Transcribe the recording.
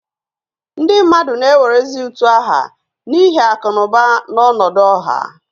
Ndị mmadụ na-ewerezi utu aha n'ihi akụ na ụba na ọnọdụ ọha